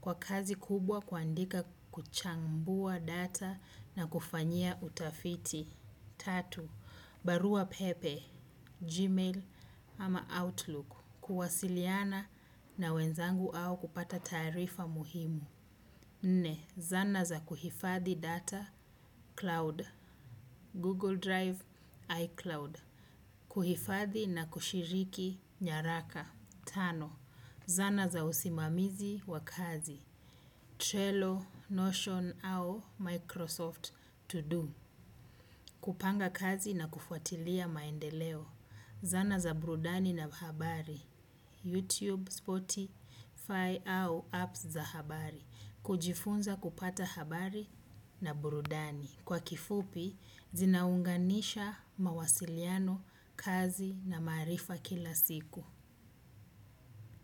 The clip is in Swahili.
Kwa kazi kubwa kwaandika kuchambua data na kufanyia utafiti. Tatu, Barua Pepe, Gmail ama Outlook. Kuwasiliana na wenzangu au kupata tarifa muhimu. Nne, zana za kuhifathi data, cloud, Google Drive, iCloud. Kuhifathi na kushiriki nyaraka. Tano, zana za usimamizi wa kazi. Trello, Notion au Microsoft to do. Kupanga kazi na kufuatilia maendeleo, zana za burudani na habari, YouTube spotify au apps za habari, kujifunza kupata habari na burudani. Kwa kifupi zinaunganisha mawasiliano kazi na maarifa kila siku.